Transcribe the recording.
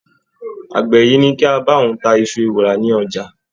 Àgbẹ̀ yìí ní ka bá òun ta iṣu ewùrà ní ọjà.